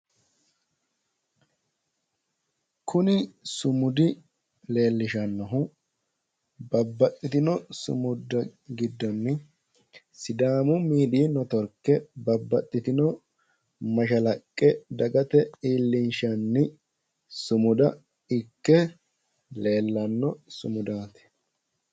Kuni sumudi leellishannohu babbaxxitino sumudda giddonni sidaamu midiyi neetiworke babbaxxitino mashalaqqe iillinshanni sumudaati